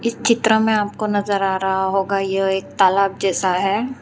चित्र में आपको नजर आ रहा होगा यह एक तालाब जैसा है।